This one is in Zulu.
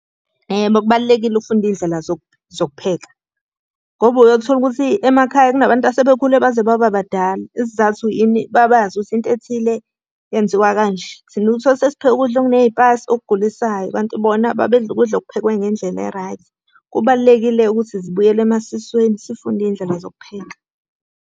Yebo, kubalulekile ukufunda iy'ndlela zokupheka. Ngoba uyothola ukuthi emakhaya kunabantu asebekhule baze baba badala. Isizathu yini? Babazi ukuthi into ethile yenziwa kanje. Thina uthole ukuthi sesipheka ukudla okuney'payisi okugulisayo, kanti bona babedla ukudla okuphekwe ngendlela e-right. Kubalulekile-ke ukuthi zibuyele emasisweni sifunde iy'ndlela zokupheka.